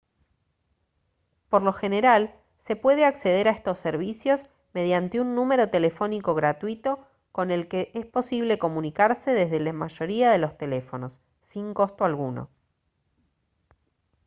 por lo general se puede acceder a estos servicios mediante un número telefónico gratuito con el que es posible comunicarse desde la mayoría de los teléfonos sin costo alguno